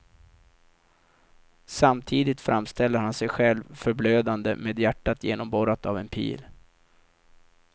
Samtidigt framställer han sig själv förblödande med hjärtat genomborrat av en pil.